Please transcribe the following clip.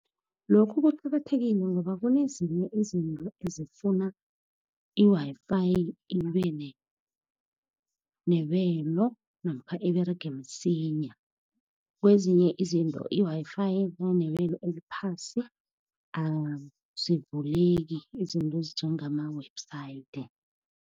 Lokhu kuqakathekile ngoba kunezinye izinto ezifuna i-Wi-Fi, ibe nebelo, namkha iberege msinya. Kwezinye izinto i-Wi-Fi nayinebelo eliphasi azivuleki izinto ezinjengama-website.